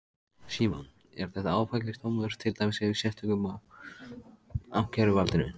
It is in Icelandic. Símon: Er þetta áfellisdómur, til dæmis yfir sérstökum og ákæruvaldinu?